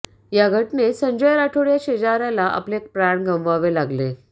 या घटनेत संजय राठोड या शेजाऱ्याला आपले प्राण गमवावे लागले